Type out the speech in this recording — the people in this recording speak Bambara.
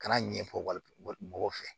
Kana ɲɛfɔli mɔgɔw fɛ